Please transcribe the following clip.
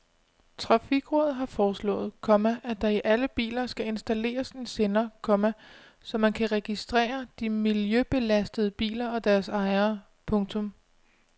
Trafikrådet har foreslået, komma at der i alle biler skal installeres en sender, komma så man kan registrere de miljøbelastende biler og deres ejere. punktum